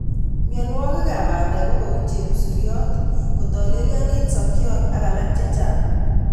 Mionwokikab bandek ko kou chebusuriot, kotelionit sokyot ak alak chechang'.